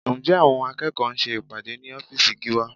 Ǹjẹ́ àwọn akẹ́kọ̀ọ́ ń ṣe ìpàdé ní ọ́fíìsì Gíwá?